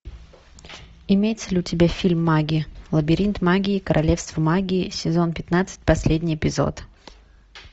имеется ли у тебя фильм магии лабиринт магии королевство магии сезон пятнадцать последний эпизод